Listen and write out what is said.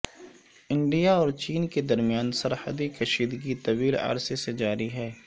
India اور چین کے درمیان سرحدی کشیدگی طویل عرصے سے جاری ہے